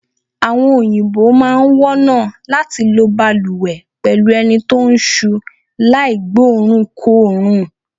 Àwo̩n òyìnbó máa wó̩nà láti lo balùwè pè̩lú eni tó ń s̩u láì gbóòórùnkóòórùn.